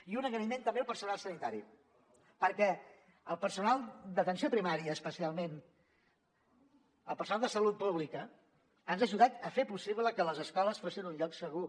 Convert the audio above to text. i un agraïment també al personal sanitari perquè al personal d’atenció primària especialment el personal de salut pública ens ha ajudat a fer possible que les escoles fossin un lloc segur